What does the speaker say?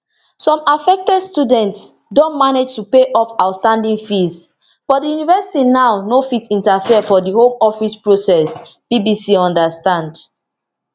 some affected students don manage to pay off outstanding fees but di university now no fit interfere for di home office process bbc understand